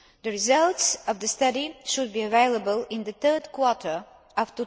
The results of the study should be available in the third quarter